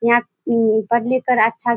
यहां इम्म पढ़-लिख के अच्छा --